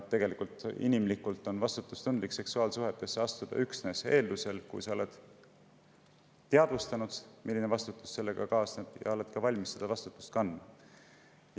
Inimlikult on vastutustundlik seksuaalsuhetesse astuda üksnes siis, kui sa oled endale teadvustanud, milline vastutus sellega kaasneb, ja oled valmis seda vastutust ka kandma.